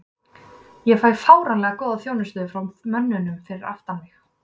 Ég fæ fáránlega góða þjónustu frá mönnunum fyrir aftan mig.